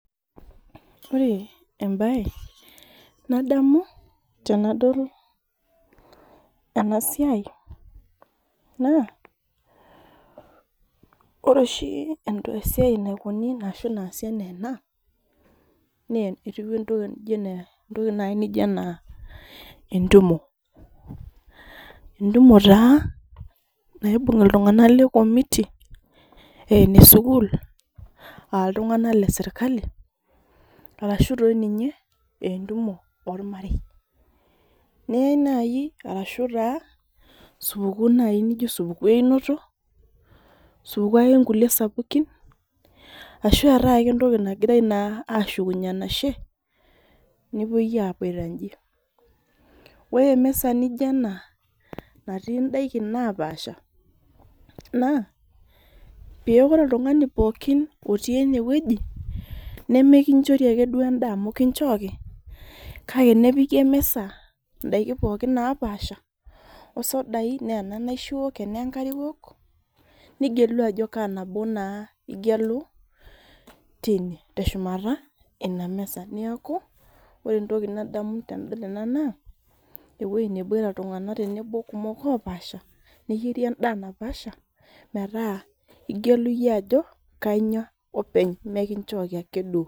ore embae nadamu tenadol ena siai naa, ore oshi esiai naasi ena ena na entoki naijo naji entumo entumo taa, naibung iltungana lekomiti aah enesukul, aa iltungana lesirkali, arashu doi ninye ee entumo olmarei, niany naji naijio naji supuku einoto supuku kulie sapukin ashu etae ake entoki nangirae ashukunyie enashe, nepoi aboita inji, ore emisa naijio ena, nati idaikin napasha na paa ore oltungani pooki oti ene weuji, nemikinchori ake endaa amu kinchoki, kake nepiki emisa indaiki pooki napasha, osodai ene kenaisho iwok kesoda, kenenkare iwok nigelu ajo kaa nabo naa ingelu teine teshumata ina misa, niaku ore entoki naamu tenadol ena naa eweuji neboita iltunganak kumok opasha neyieri endaa napaasha, meeta ingelu iyie ajo kaa inyia meikinchori ake duo.